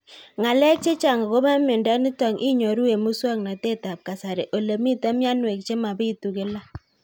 Ng'alek chechang' akopo miondo nitok inyoru eng' muswog'natet ab kasari ole mito mianwek che mapitu kila